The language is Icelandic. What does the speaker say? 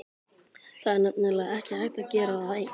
Það er nefnilega ekki hægt að gera það einn.